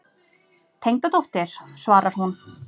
Tengdadóttir, svarar hún.